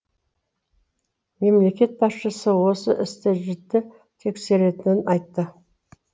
мемлекет басшысы осы істі жіті тексеретінін айтты